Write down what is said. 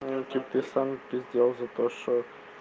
теперь сам пиздел за то что